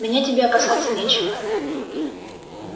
меня тебе опасаться нечего